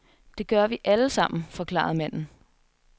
Det gør vi alle sammen, forklarede manden.